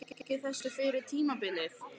Hefði Lárus tekið þessu fyrir tímabilið?